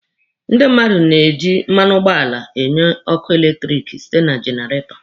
Ndị mmadụ na-eji mmanụ ụgbọala enye ọkụ eletiriki site na jenaretọ